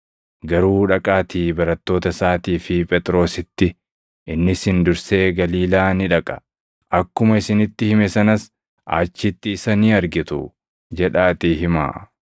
Garuu dhaqaatii barattoota isaatii fi Phexrositti, ‘Inni isin dursee Galiilaa ni dhaqa. Akkuma isinitti hime sanas achitti isa ni argitu’ jedhaatii himaa.”